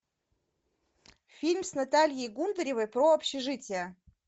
фильм с натальей гундаревой про общежитие